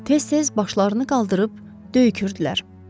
Tez-tez başlarını qaldırıb döyükürdülər.